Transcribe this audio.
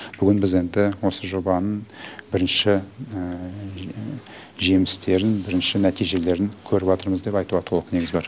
бүгін біз енді осы жобаның бірінші жемістерін бірінші нәтижелерін көріватырмыз деп айтуға толық негіз бар